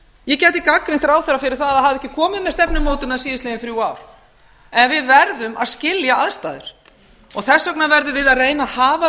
ég gæti gagnrýnt ráðherra fyrir það að af ekki komið með stefnumótun síðastliðin þrjú ár en við verðum að skilja aðstæður þess vegna verðum við að reyna að hafa